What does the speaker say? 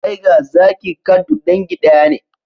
Tiger, zaki, cat duk dangi daya ne